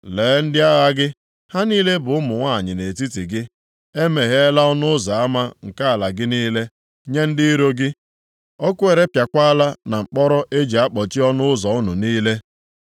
Lee ndị agha gị, ha niile bụ ụmụ nwanyị nʼetiti gị. E megheela ọnụ ụzọ ama nke ala gị niile nye ndị iro gị. Ọkụ erepịakwala na mkpọrọ e ji akpọchi ọnụ ụzọ unu niile.